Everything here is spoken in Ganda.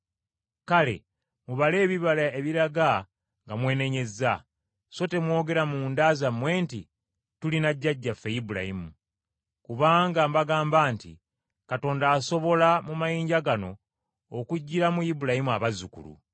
Kale mubale ebibala ebiraga nga mwenenyezza, so temwogera munda zammwe nti tulina jjajjaffe Ibulayimu. Kubanga mbagamba nti Katonda asobola, mu mayinja gano, okuggyiramu Ibulayimu abazzukulu.